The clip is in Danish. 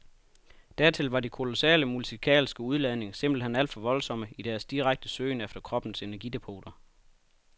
Dertil var de kolossale musikalske udladninger simpelt hen alt for voldsomme i deres direkte søgen efter kroppens energidepoter.